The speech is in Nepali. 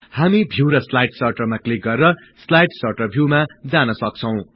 हामी भिउ र स्लाईड सर्टरमा क्लिक गरि स्लाईड सर्टर भिउमा जान सक्छौं